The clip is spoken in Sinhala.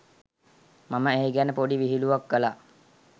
මම ඒ ගැන පොඩි විහිළුවක් කලා.